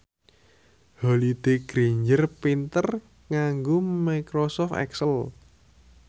Holliday Grainger pinter nganggo microsoft excel